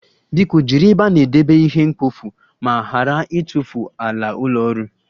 Biko jiri ebe a na-edebe ihe mkpofu ma ghara ịtụfu ala ụlọ ọrụ